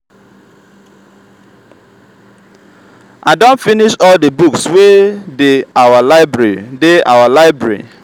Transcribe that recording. i don finish all the books wey dey our library dey our library